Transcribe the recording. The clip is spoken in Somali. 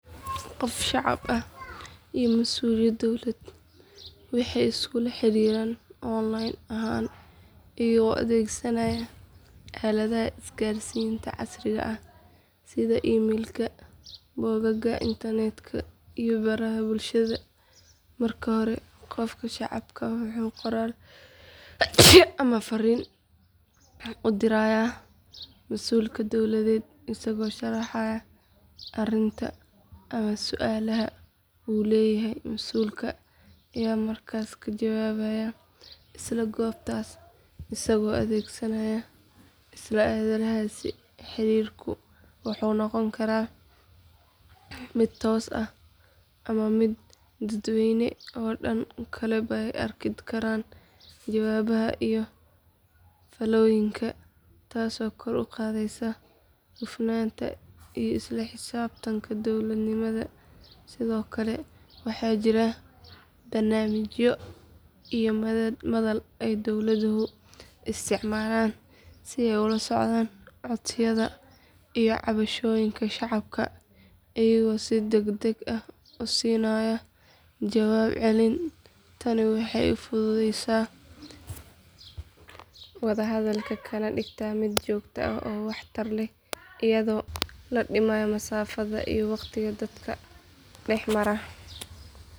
Qof shacab ah iyo masuul dowladeed waxay iskula xiriiraan online ahaan iyagoo adeegsanaya aaladaha isgaarsiinta casriga ah sida emailka bogagga internetka iyo baraha bulshada marka hore qofka shacabku wuxuu qoraal ama fariin u dirayaa masuulka dowladeed isagoo sharaxaya arrinta ama su’aasha uu leeyahay masuulka ayaa markaas ka jawaabaya isla goobtaas isagoo adeegsanaya isla aaladahaas xiriirku wuxuu noqon karaa mid toos ah ama mid dadweyne oo dadka kaleba ay arki karaan jawaabaha iyo faallooyinka taasoo kor u qaadaysa hufnaanta iyo isla xisaabtanka dowladnimada sidoo kale waxaa jira barnaamijyo iyo madal ay dowladuhu isticmaalaan si ay ula socdaan codsiyada iyo cabashooyinka shacabka iyagoo si degdeg ah u siinaya jawaab celin tani waxay fududeysaa wada hadalka kana dhigtaa mid joogto ah oo waxtar leh iyadoo la dhimayo masaafada iyo waqtiga dadka dhex mara.